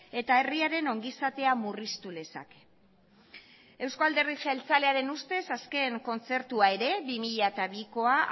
eta herriaren ongi izatea murriztu lezake euzko alderdi jeltzalearen ustez azken kontzertua ere bi mila bikoa